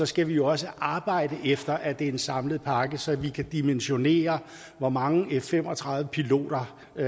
skal vi også arbejde efter at det er en samlet pakke så vi kan dimensionere hvor mange f fem og tredive piloter vi